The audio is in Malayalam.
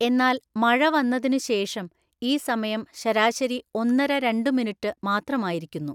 എന്നാല് മഴ വന്നതിനുശേഷം ഈ സമയം ശരാശരി ഒന്നര രണ്ടു മിനിറ്റ് മാത്രമായിരിക്കുന്നു.